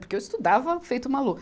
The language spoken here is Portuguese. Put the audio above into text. Porque eu estudava feito uma louca.